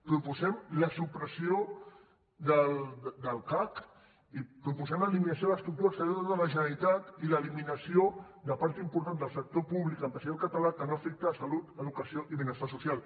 proposem la supressió del cac i proposem l’eliminació de l’estructura exterior de la generalitat i l’eliminació de part important del sector públic empresarial català que no afecta la salut educació ni benestar social